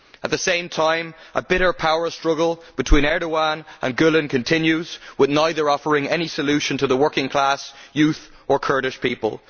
At the same time a bitter power struggle between Erdoğan and Gül continues, with neither offering any solution to the working class, the young or Kurdish people.